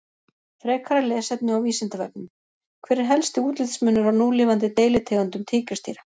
Frekara lesefni á Vísindavefnum: Hver er helsti útlitsmunur á núlifandi deilitegundum tígrisdýra?